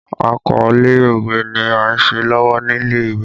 Àkọlé òwe ni a ń ṣe lọ́wọ́ nílé ìwé